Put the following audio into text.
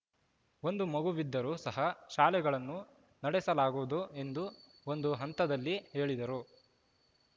ಒಂದು ಮಗುವಿದ್ದರೂ ಸಹ ಶಾಲೆಗಳನ್ನು ನಡೆಸಲಾಗುವುದು ಎಂದು ಒಂದು ಹಂತದಲ್ಲಿ ಹೇಳಿದರು